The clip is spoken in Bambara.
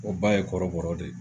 O ba ye kɔrɔbɔrɔ de.